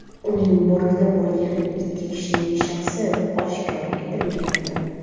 Uning bortida bo‘lgan ikki kishining shaxsi oshkor etilmayapti.